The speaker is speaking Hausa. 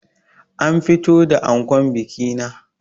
An fito da ankon bikina